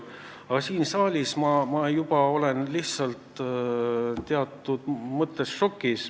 Aga siin saalis ma olen juba teatud mõttes lihtsalt šokis.